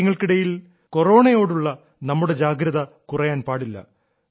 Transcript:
ഇക്കാര്യങ്ങൾക്കിടയിൽ കൊറോണയോടുള്ള നമ്മുടെ ജാഗ്രത കുറയാൻ പാടില്ല